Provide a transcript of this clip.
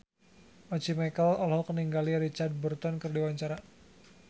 Once Mekel olohok ningali Richard Burton keur diwawancara